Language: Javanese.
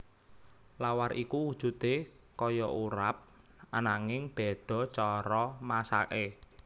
Lawar iku wujudé kaya urap ananging béda cara masaké